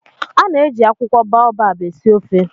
A na-eji akwụkwọ baobab esi ofe